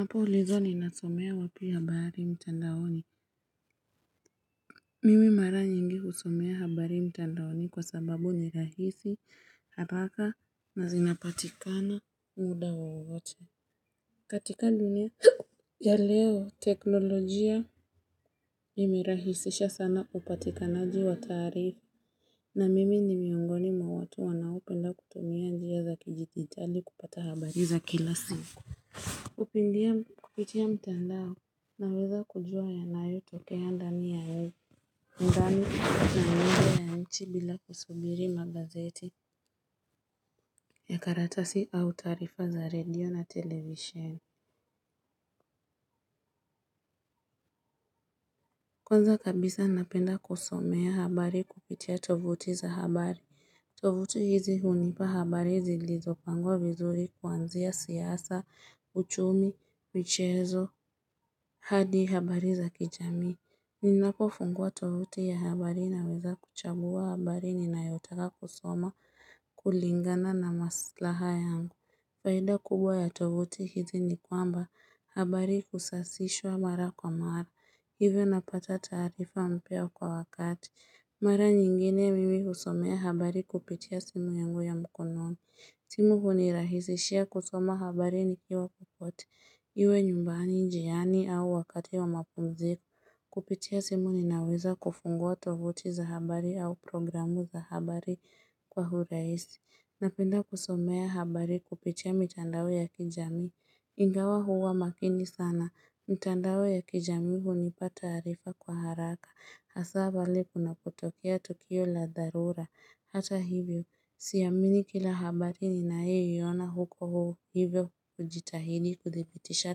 Napo ulizwa ni nasomea wapi habari mtandaoni. Mimi mara nyingi husomea habari mtandaoni kwa sababu nirahisi haraka na zinapatikana muda wowote. Katika linia ya leo teknolojia imerahisisha sana upatikanaji wa taarifa. Na mimi ni miungoni mwa watu wanaopenda kutumia njia za kidijitali kupata habari za kila siku. Upindia kupitia mtandao na weza kujua ya nayo tokea ndani ya we ndani na nani ya nchi bila kusubiri magazeti ya karatasi au taarifa za radio na television Kwanza kabisa napenda kusomea habari kupitia tovuti za habari tovuti hizi hunipa habari zi lizo pangwa vizuri kuanzia siasa uchumi michezo hadi habari za kijamii Ninako funguwa tovuti ya habari na weza kuchagua habari ninayotaka kusoma kulingana na maslaha yangu. Faida kubwa ya tovuti hizi ni kwamba habari usasishwa mara kwa mara. Hivyo napata taarifa mpya kwa wakati. Mara nyingine mimi husomea habari kupitia simu yangu ya mkononi. Simu hunirahisishia kusoma habari nikiwa kokote. Iwe nyumbani njiani au wakati wa mapumziko. Kupitia simu ninaweza kufungua tovuti za habari au programu za habari kwa uraisi. Napenda kusomea habari kupitia mitandao ya kijamii. Ingawa huwa makini sana. Mitandao ya kijamii hunipa taarifa kwa haraka. Hasa pale kunapotokea tukio la dharura. Hata hivyo. Siamini kila habari ni nayoiona huko huo hivyo hujitahidi kudhibitisha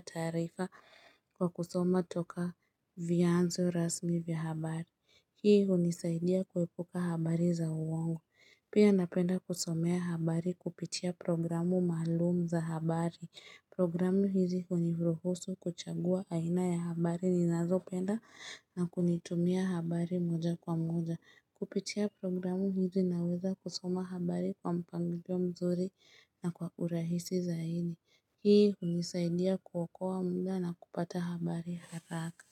taarifa kwa kusoma toka vyanzo rasmi vya habari. Hii unisaidia kuepuka habari za uongo. Pia napenda kusomea habari kupitia programu maalum za habari. Programu hizi huniruhusu kuchagua aina ya habari ni nazo penda na kunitumia habari moja kwa moja. Kupitia programu hizi na weza kusoma habari kwa mpangilio mzuri na kwa urahisi zaidi. Hii unisaidia kuokoa muda na kupata habari haraka.